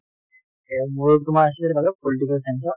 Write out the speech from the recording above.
এই মোৰো তোমাৰ আছিল বাৰু political science ত